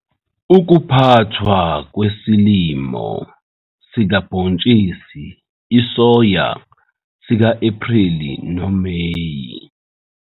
UKUPHATHWA KWESILIMO sikabhontshisi isoya sika-Ephreli noMeyi